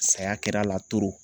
Saya kɛr'a la